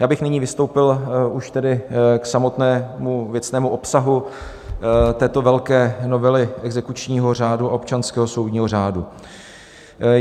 Já bych nyní vystoupil už tedy k samotnému věcnému obsahu této velké novely exekučního řádu a občanského soudního řádu.